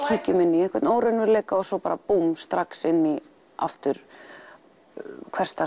kíkjum inn í einhvern óraunveruleika og svo bara búmm strax inn í aftur hversdags